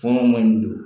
Kɔngɔ man ɲi dɛ